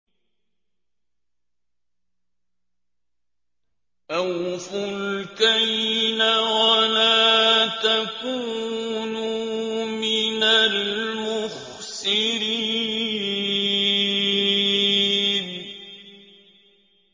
۞ أَوْفُوا الْكَيْلَ وَلَا تَكُونُوا مِنَ الْمُخْسِرِينَ